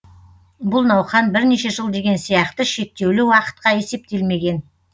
бұл науқан бірнеше жыл деген сияқты шектеулі уақытқа есептелмеген